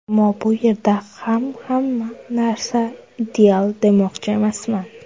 Ammo bu yerda ham hamma narsa ideal demoqchi emasman.